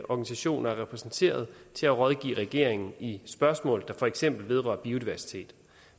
organisationer er repræsenteret til at rådgive regeringen i spørgsmål der for eksempel vedrører biodiversitet